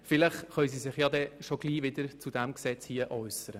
Vielleicht können sich diese schon bald wieder zu diesem Gesetz äussern.